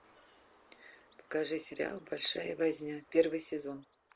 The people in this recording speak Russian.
покажи сериал большая возня первый сезон